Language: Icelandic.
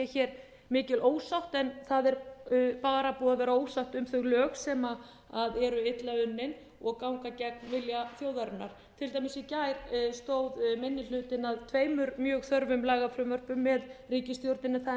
hér mikil ósátt en það er bara búið að vera ósátt um þau lög sem eru illa unnin og ganga gegn vilja þjóðarinnar til dæmis í gær stóð minni hlutinn að tveimur mjög þörfum lagafrumvörpum með ríkisstjórninni það er